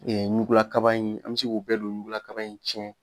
ɲugulakaba in an bɛ se k'o bɛɛ don ɲugula kaba in cɛn